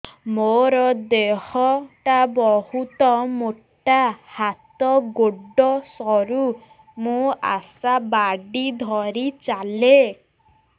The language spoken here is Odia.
ମୋର ଦେହ ଟା ବହୁତ ମୋଟା ହାତ ଗୋଡ଼ ସରୁ ମୁ ଆଶା ବାଡ଼ି ଧରି ଚାଲେ